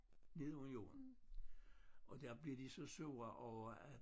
Nede under jorden og der blev de så sure over at